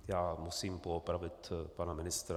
Já musím poopravit pana ministra.